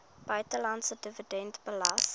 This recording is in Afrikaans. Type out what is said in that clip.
buitelandse dividend belas